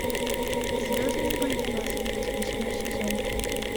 звездные бои насмерть восьмой сезон